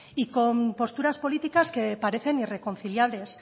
y con posturas políticas que parecen irreconciliables